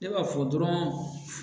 Ne b'a fɔ dɔrɔn